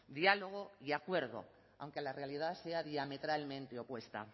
diálogo y acuerdo aunque la realidad sea diametralmente opuesta